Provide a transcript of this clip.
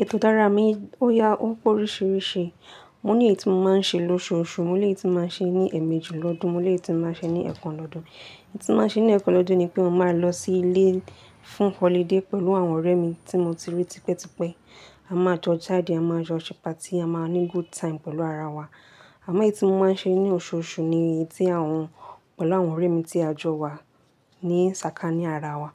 Ètò dára mi, ó ya ó p'oríṣìíríṣìí. Mo ní ètí mo máa ń ṣe lóṣùọṣù, mo lè tún máa ṣe ní ẹmẹjù lọ́dún, mo lè tún máa ṣe ní ẹ̀kan lọ́dún. Ètí mo máa ṣe ní ẹ̀kan lọ́dún ni pé mo máa lọ sí ilé fún holiday pẹ̀lú àwọn ọ̀rẹ́ mi tí mo ti rí tipẹ́tipẹ́. A máa jọ jáde, a máa jọ ṣe party, a máa ní good time pẹ̀lú ara wa. Àmọ́ ètí mo máa ń ṣe ní oṣùọṣù ni ètí àwọn, pẹ̀lú àwọn ọ̀rẹ́ mi tí a jọ wà ní sàkání ara wa.